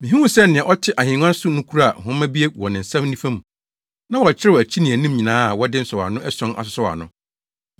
Mihuu sɛ nea ɔte ahengua so no kura nhoma bi wɔ ne nsa nifa mu. Na wɔakyerɛw akyi ne anim nyinaa a wɔde nsɔwano ason asosɔw ano.